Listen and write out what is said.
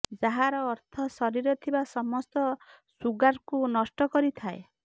ଯାହାର ଅର୍ଥ ଶରୀରରେ ଥିବା ସମସ୍ତ ସୁଗାର୍କୁ ନଷ୍ଟ କରିଥାଏ